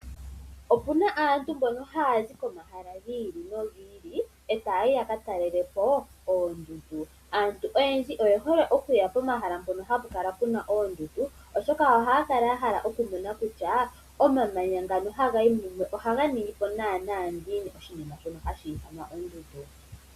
Opuna aantu mbono haya zi komahala gi ili nogi ili etaa yi ya ka talelepo oondundu. Aantu oyendji oye hole okuya pomahala mpono hapu kala puna oondundu oshoka ohaya kala ya hala okumona kutya omamanya ngano haga yi mumwe ohaga ningi po naanaa ngiini oshinima shono hashi ithanwa ondundu.